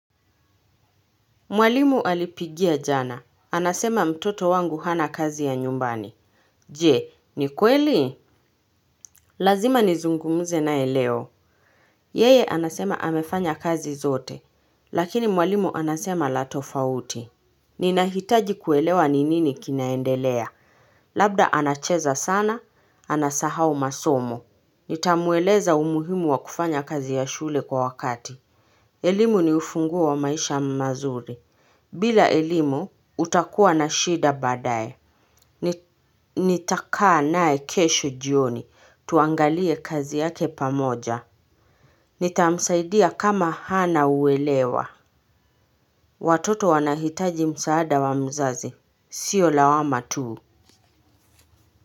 Mwalimu alipigia jana. Anasema mtoto wangu hana kazi ya nyumbani. Jee, ni kweli? Lazima nizungumuze naye leo. Yeye anasema amefanya kazi zote lakini mwalimu anasema la tofauti. Ninahitaji kuelewa ni nini kinaendelea. Labda anacheza sana, anasahao masomo. Nitamueleza umuhimu wa kufanya kazi ya shule kwa wakati. Elimu ni ufunguo wa maisha mazuri. Bila elimu, utakuwa na shida baadaye. Nitakaa nae kesho jioni. Tuangalie kazi yake pamoja. Nitamsaidia kama hana uelewa. Watoto wanahitaji msaada wa mzazi. Sio lawama tuu.